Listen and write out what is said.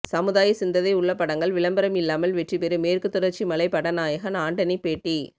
சமுதாய சிந்ததை உள்ள படங்கள் விளம்பரம் இல்லாமல் வெற்றிபெறும் மேற்கு தொடர்ச்சி மலை பட நாயகன் ஆண்டனி பேட்டி